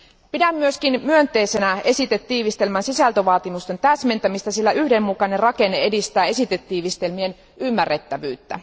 Pidän myös myönteisenä esitetiivistelmän sisältövaatimusten täsmentämistä, sillä yhdenmukainen rakenne edistää esitetiivistelmien ymmärrettävyyttä.